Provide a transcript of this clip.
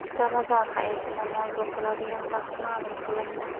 Ramazon hayiti namozi o‘qiladigan vaqt ma’lum qilindi.